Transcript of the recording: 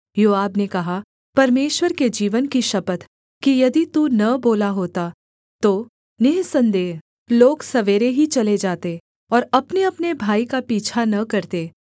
योआब ने कहा परमेश्वर के जीवन की शपथ कि यदि तू न बोला होता तो निःसन्देह लोग सवेरे ही चले जाते और अपनेअपने भाई का पीछा न करते